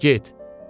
gəl, get.